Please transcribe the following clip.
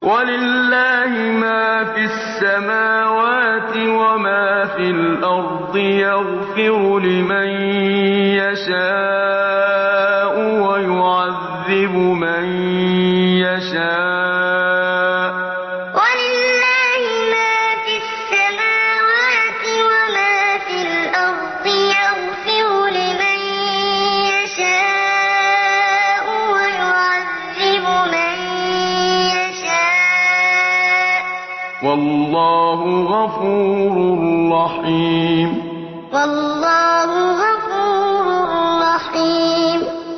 وَلِلَّهِ مَا فِي السَّمَاوَاتِ وَمَا فِي الْأَرْضِ ۚ يَغْفِرُ لِمَن يَشَاءُ وَيُعَذِّبُ مَن يَشَاءُ ۚ وَاللَّهُ غَفُورٌ رَّحِيمٌ وَلِلَّهِ مَا فِي السَّمَاوَاتِ وَمَا فِي الْأَرْضِ ۚ يَغْفِرُ لِمَن يَشَاءُ وَيُعَذِّبُ مَن يَشَاءُ ۚ وَاللَّهُ غَفُورٌ رَّحِيمٌ